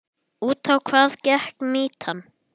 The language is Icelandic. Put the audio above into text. Út á hvað gekk mýtan?